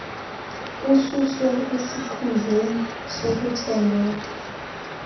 ususwe esikhundleni sokuthembeka